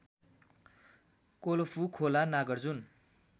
कोलफु खोला नागार्जुन